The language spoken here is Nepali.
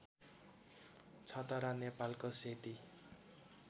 छतरा नेपालको सेती